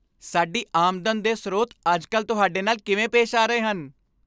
ਸਾਡੀ ਆਮਦਨ ਦੇ ਸਰੋਤ ਅੱਜ ਕੱਲ੍ਹ ਤੁਹਾਡੇ ਨਾਲ ਕਿਵੇਂ ਪੇਸ਼ ਆ ਰਹੇ ਹਨ?